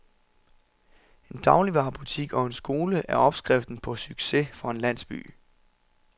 En dagligvarebutik og en skole er opskriften på succes for en landsby.